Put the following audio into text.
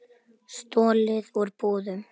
Stolið úr búðum.